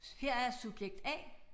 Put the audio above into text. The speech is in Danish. Her er subjekt A